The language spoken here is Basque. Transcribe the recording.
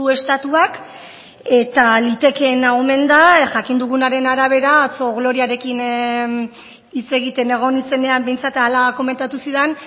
estatuak eta litekeena omen da jakin dugunaren arabera atzo gloriarekin hitz egiten egon nintzenean behintzat hala komentatu zidan